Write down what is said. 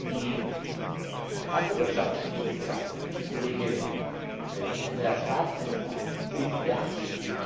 Die wasserwirtschaftlichen Potenziale, die Kollege Andreas Schwab ansprach, sind beachtlich.